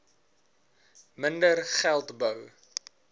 minder geld bou